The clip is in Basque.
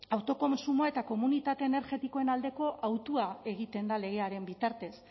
autokontsumoa eta komunitate energetikoen aldeko hautua egiten da legearen bitartez